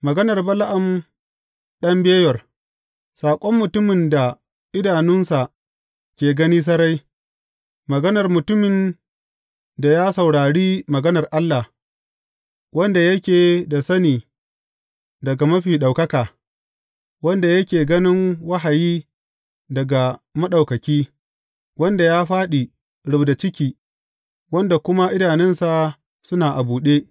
Maganar Bala’am ɗan Beyor, saƙon mutumin da idanunsa ke gani sarai, maganar mutumin da ya saurari maganar Allah, wanda yake da sani daga Mafi Ɗaukaka, wanda yake ganin wahayi daga Maɗaukaki, wanda ya fāɗi rubda ciki, wanda kuma idanunsa suna a buɗe.